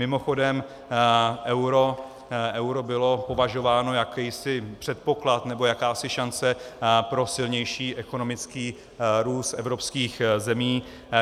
Mimochodem, euro bylo považováno, jakýsi předpoklad nebo jakási šance pro silnější ekonomický růst evropských zemí.